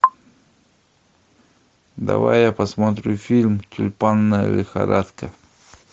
давай я посмотрю фильм тюльпанная лихорадка